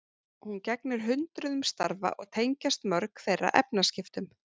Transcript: Hún gegnir hundruðum starfa og tengjast mörg þeirra efnaskiptum.